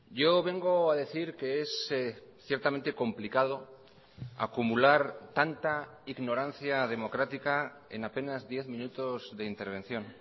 yo vengo a decir que es ciertamente complicado acumular tanta ignorancia democrática en apenas diez minutos de intervención